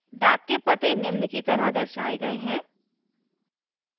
डाक के the निम्न की तरह दर्शाये गए है